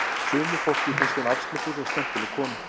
Sumu fólki finnst hún afslöppuð og skemmtileg kona